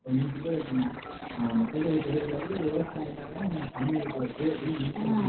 இப்ப நீங்க சொல்றது எப்படின்னா ஆஹ் மக்கள் தொகை பெருக பெருக விவசாயம் கம்மியாயிட்டு வருது அப்படின்னு நீங்க சொல்றீங்க